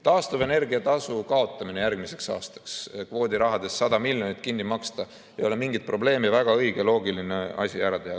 Taastuvenergia tasu kaotamine järgmiseks aastaks, kvoodirahadest 100 miljonit eurot kinni maksta – ei ole mingit probleemi, väga õige ja loogiline asi, mis ära teha.